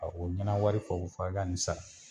Ka u ɲɛna wari fɔ ko f'a ka ni sara.